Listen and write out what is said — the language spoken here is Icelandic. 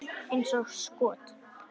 Eins og skot!